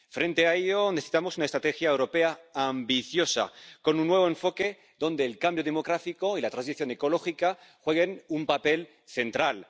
Frente a ello necesitamos una estrategia europea ambiciosa, con un nuevo enfoque donde el cambio demográfico y la transición ecológica desempeñen un papel central.